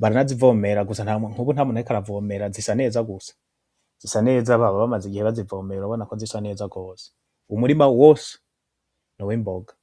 baranazivomera gusa nkubu ntamuntu ariko aravomera zisa neza gusa baba bamaze igihe bazivomera urabona kozisa neza gose ,umurima wose n’uwimboga gusa.